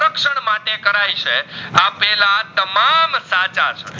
ટાચાસ